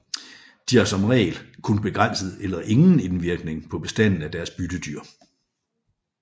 De har som regel kun begrænset eller ingen indvirkning på bestanden af deres byttedyr